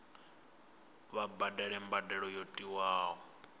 vha badele mbadelo yo tiwaho